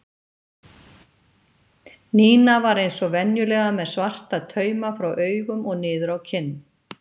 Nína var eins og venjulega með svarta tauma frá augum og niður á kinn.